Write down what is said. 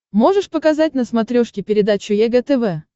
можешь показать на смотрешке передачу егэ тв